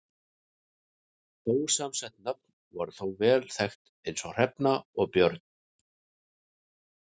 Ósamsett nöfn voru þó vel þekkt eins og Hrefna og Björn.